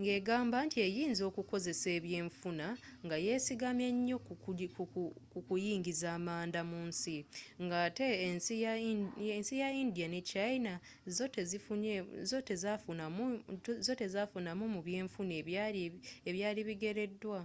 nga egamba nti eyinza okukosa ebyenfuna nga ye sigamye nnyo ku kuyingiza amanda mu nsi nga ate ensi nga india ne china zo tezaafunamu mu byenfuna ebyali bigereddwa